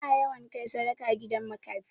Ana yawan kai sadaka gidan makafi.